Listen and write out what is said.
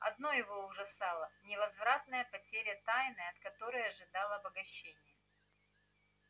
одно его ужасало невозвратная потеря тайны от которой ожидал обогащения